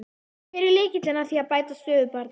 En hver er lykillinn að því að bæta stöðu barna?